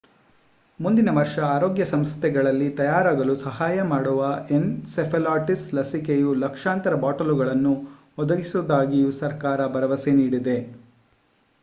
ಮುಂದಿನ ವರ್ಷ ಆರೋಗ್ಯ ಸಂಸ್ಥೆಗಳಿಗೆ ತಯಾರಾಗಲು ಸಹಾಯ ಮಾಡುವ ಎನ್‌ಸೆಫಾಲಿಟಿಸ್ ಲಸಿಕೆಯ ಲಕ್ಷಾಂತರ ಬಾಟಲುಗಳನ್ನು ಒದಗಿಸುವುದಾಗಿಯೂ ಸರ್ಕಾರ ಭರವಸೆ ನೀಡಿದೆ